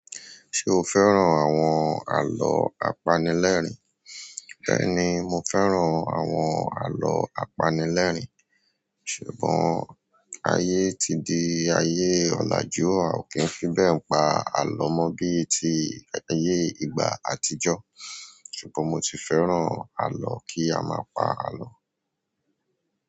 Ṣé o fẹ́ràn àwọn àlọ́ apanilẹ́rìn? Bẹ́ẹ̀ni, mo fẹ́ràn àwọn àlọ́ apanilẹ́rìn. Ṣùgbọ́n ayé ti di ayé ọ̀làjú, a ò kí ń fi bẹ́ẹ̀ pa àlọ́ mọ bí ti ayé ìgbà àtijọ́. Ṣùgbọ́n mo si fẹ́ràn alọ. Ki aaa pa alọ.